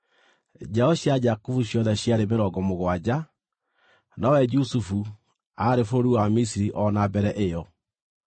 Njiaro cia Jakubu ciothe ciarĩ mĩrongo mũgwanja; nowe Jusufu, aarĩ bũrũri wa Misiri o na mbere ĩyo.